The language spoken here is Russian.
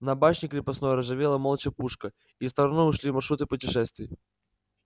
на башне крепостной ржавела молча пушка и стороной ушли маршруты путешествий